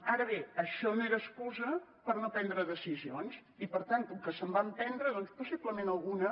ara bé això no era excusa per no prendre decisions i per tant com que se’n van prendre doncs possiblement alguna